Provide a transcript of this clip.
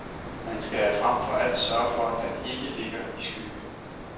Man skal frem for alt sørge for, at den ikke ligger i skygge.